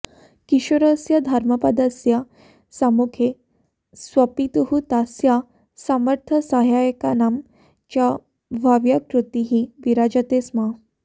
किशोरस्य धर्मपदस्य सम्मुखे स्वपितुः तस्य समर्थसहायकानां च भव्यकृतिः विराजते स्म